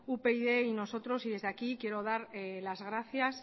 upyd y nosotros desde aquí quiero dar las gracias